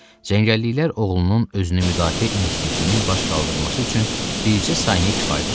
Cəngəlliklər oğlunun özünü müdafiə instinktinin baş qaldırması üçün bircə saniyə kifayət etdi.